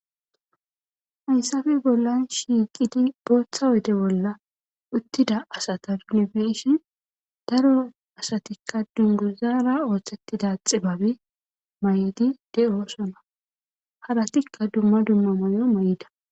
Hayssappe bollan shiiqidi guutha oyde bollan uttida asata ta be7ishin daro asatikka dunguzara oothettida xibabe mayidi de7oosona.haratikka dumma dumma mayo mayida.